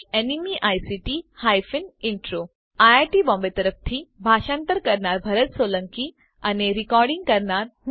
iit Bombay તરફથી ભાષાંતર કરનાર હું ભરત સોલંકી વિદાય લઉં છું